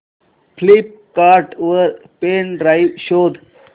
Flipkart वर pen drive शोधा